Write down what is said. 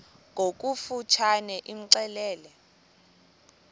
ngokofu tshane imxelele